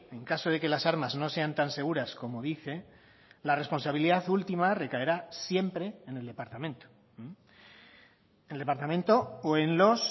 en caso de que las armas no sean tan seguras como dice la responsabilidad última recaerá siempre en el departamento el departamento o en los